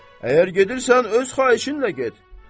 Əgər gedirsən öz xahişinlə get.